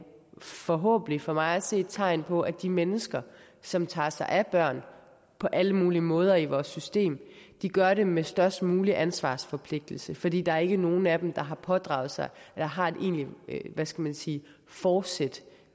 forhåbentlig for mig at se et tegn på at de mennesker som tager sig af børn på alle mulige måder i vores system gør det med størst mulig ansvarsforpligtelse fordi der ikke er nogen af dem der har pådraget sig eller har et egentlig hvad skal man sige fortsæt